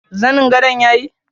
Zanin gadon yayi?